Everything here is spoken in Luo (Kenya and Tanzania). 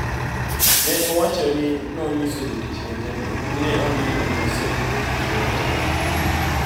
Ne owacho ni nonyiso jotich wetene ni ne oneno ni osetimo tichne e od bura.